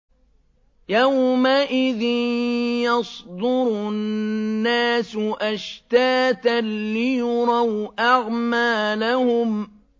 يَوْمَئِذٍ يَصْدُرُ النَّاسُ أَشْتَاتًا لِّيُرَوْا أَعْمَالَهُمْ